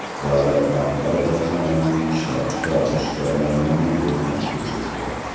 Davlat rahbari korxonaning ishlab chiqarish jarayonini ko‘zdan kechirdi.